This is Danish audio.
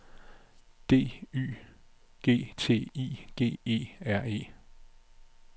D Y G T I G E R E